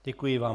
Děkuji vám.